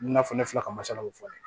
I bina fɔ ne fila ka masalaw fɔ